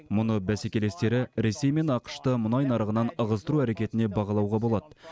мұны бәсекелестері ресей мен ақш ты мұнай нарығынан ығыстыру әрекетіне бағалауға болады